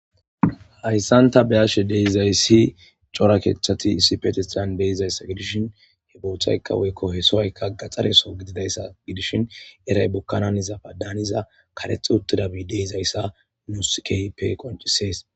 hayssanta beyashe deizayssi cora keeththati isipetistan deizayssa gidishin he boothaykka woykko he sooykka gaxxareso gididayssa gidishin eray bokkanan izafa daaniza karexi uttida biide izayssa nuskeype qoncisees